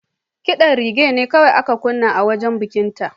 Ƙidan reggae ne kawai aka kunna a wajen bikinta.